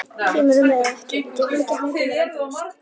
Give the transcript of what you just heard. Kemurðu með eða ekki. við getum ekki hangið hér endalaust!